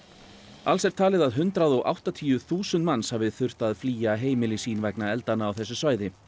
alls er talið að hundrað og áttatíu þúsund manns hafi þurfti að flýja heimili sín vegna eldanna á þessu svæði